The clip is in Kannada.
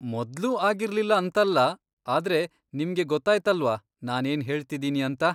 ಮೊದ್ಲು ಆಗಿರ್ಲಿಲ್ಲ ಅಂತಲ್ಲ, ಆದ್ರೆ ನಿಮ್ಗೆ ಗೊತ್ತಾಯ್ತಲ್ವಾ ನಾನೇನ್ ಹೇಳ್ತಿದ್ದೀನಿ ಅಂತ.